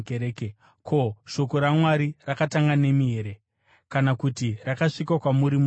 Ko, shoko raMwari rakatanga nemi here? Kana kuti rakasvika kwamuri moga here?